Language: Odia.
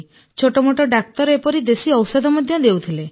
ଛୋଟମୋଟ ଡାକ୍ତର ଏପରି ଦେଶୀ ଔଷଧ ଦେଉଥିଲେ